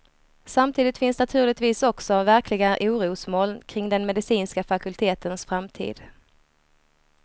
Samtidigt finns naturligtvis också verkliga orosmoln kring den medicinska fakultetens framtid.